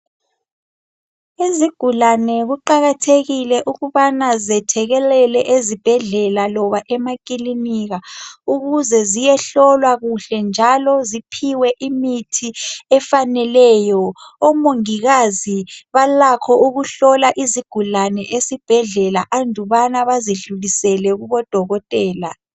Izigulane kuqakathekile ukubana zethekelelele ezibhedlela loba emakilinika ukuze ziyehlolwa kuhlenjalo ziphiwe imithi efaneleyo omongikazi balakho ukuhlola izigulane esibhedlela andubana bazidlulisele kubodokotela.